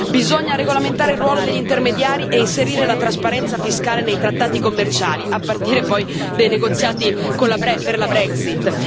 Bisogna regolamentare il ruolo degli intermediari e inserire la trasparenza fiscale nei trattati commerciali, a partire poi dei negoziati per la Brexit.